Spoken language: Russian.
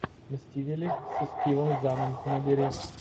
мстители с стивом заном набери